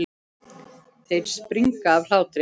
Þeir springa af hlátri.